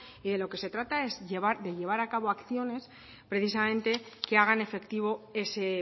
y de lo que se trata es de llevar a cabo acciones precisamente que hagan efectivo ese